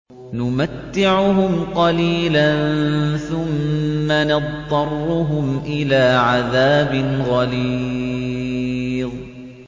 نُمَتِّعُهُمْ قَلِيلًا ثُمَّ نَضْطَرُّهُمْ إِلَىٰ عَذَابٍ غَلِيظٍ